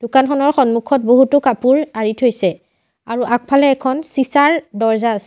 দোকানখনৰ সন্মুখত বহুতো কাপোৰ আঁৰি থৈছে আৰু আগফালে এখন চিছাৰ দৰ্জা আছে।